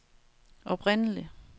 oprindelig